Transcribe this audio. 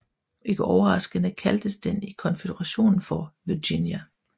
Ikke overraskende kaldtes den i Konføderationen for Virginia